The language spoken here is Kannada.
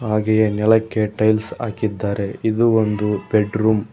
ಹಾಗೆಯೆ ನೆಲಕ್ಕೆ ಟೈಲ್ಸ್ ಹಾಕಿದ್ದಾರೆ ಇದು ಒಂದು ಬೆಡರೂಮ್ .